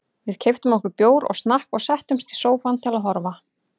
Við keyptum okkur bjór og snakk og settumst í sófann til að horfa.